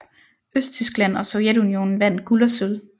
Østtyskland og Sovjetunionen vandt guld og sølv